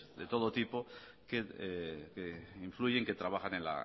de todo tipo que influyen que trabajan en